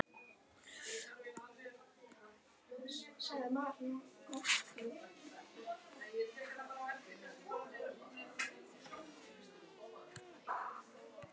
Ástandið er náttúrlega bara mjög slæmt